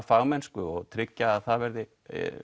fagmennsku og tryggja að það verði